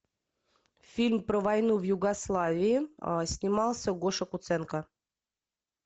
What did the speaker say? фильм про войну в югославии снимался гоша куценко